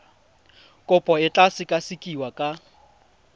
kopo e tla sekasekiwa ka